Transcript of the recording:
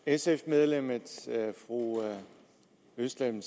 sf medlemmet fru özlem